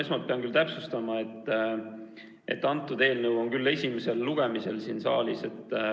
Esmalt pean täpsustama, et see eelnõu on küll esimesel lugemisel siin saalis.